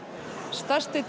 stærsti